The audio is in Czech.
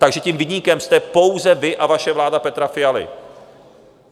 Takže tím viníkem jste pouze vy a vaše vláda Petra Fialy.